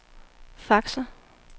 faxer